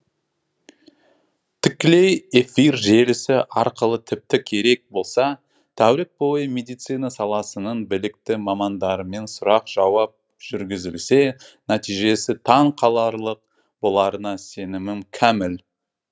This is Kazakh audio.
тікелей эфир желісі арқылы тіпті керек болса тәулік бойы медицина саласының білікті мамандарымен сұрақ жауап жүргізілсе нәтижесі таң қаларлық боларына сенімім кәміл